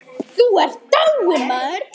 Þú ert dáinn.